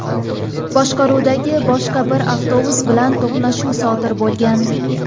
boshqaruvidagi boshqa bir avtobus bilan to‘qnashuv sodir bo‘lgan.